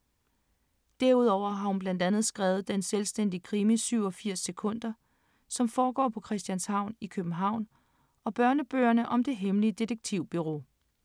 Derudover har hun blandt andet skrevet den selvstændige krimi 87 sekunder, som foregår på Christianshavn i København og børnebøgerne om Det Hemmelige Detektivbureau.